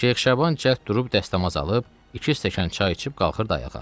Şeyx Şaban cəld durub dəstəmaz alıb, iki stəkan çay içib qalxırdı ayağa.